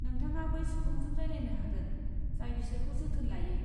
नोंथाङा बै सुबुंजों रायज्लायनो हागोन, जाय बिसोरखौ जोथोन लायो।